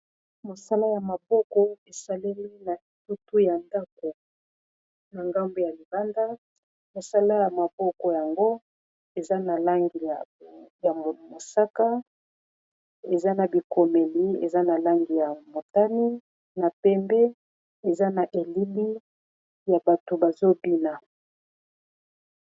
mosala ya maboko esaleli na etutu ya ndako na ngambu ya libanda mosala ya maboko yango eza na langiya mosaka eza na bikomeli eza na langi ya motani na pembe eza na elili ya bato bazobina